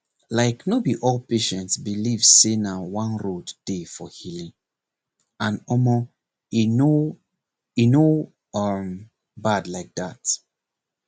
like no be all patient believe say na one road dey for healing and omor e no e no um bad like that